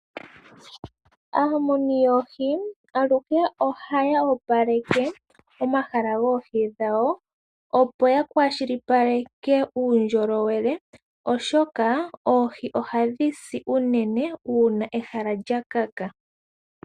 Aamuni yoohi aluhe ohaya opaleke omahala goohi dhawo, opo ya kwashilipaleke uundjolowele, oshoka oohi ohadhi si uunene uuna ehala lya kaka.